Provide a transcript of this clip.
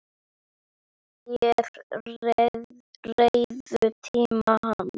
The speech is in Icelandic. Þeir réðu tíma hans.